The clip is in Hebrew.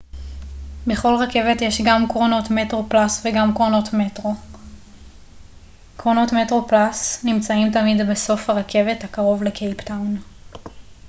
בכל רכבת יש גם קרונות metroplus וגם קרונות metro קרונות metroplus נמצאים תמיד בסוף הרכבת הקרוב לקייפטאון